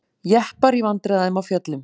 Jeppar í vandræðum á fjöllum